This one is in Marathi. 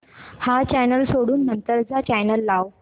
हा चॅनल सोडून नंतर चा चॅनल लाव